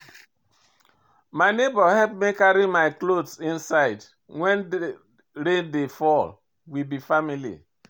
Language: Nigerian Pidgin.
My nebor help me carry my cloth inside wen rain dey fall, we be family.